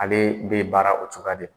Ale bɛ baara o cogoya de